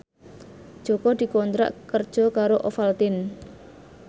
Jaka dikontrak kerja karo Ovaltine